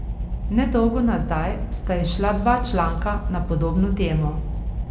Nedolgo nazaj sta izšla dva članka na podobno temo.